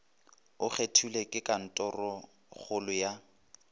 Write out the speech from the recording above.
o kgethilwe ke kantorokgolo ya